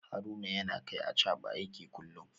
Haruna yana kai Achaba aiki kullum